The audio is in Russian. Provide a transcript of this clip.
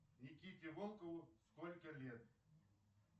никите волкову сколько лет